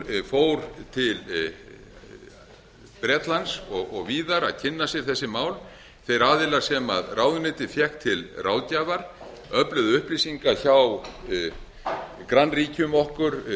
fór til bretlands og víðar að kynna sér þessi mál þeir aðilar sem ráðuneytið fékk til ráðgjafar öfluðu upplýsinga hjá grannríkjum okkar til dæmis bretum hvað varðar sjálfa kjörkassana og ráðuneytið hafði ráðgjöf um gerð kjörklefanna þó því bæri ekki lagaskylda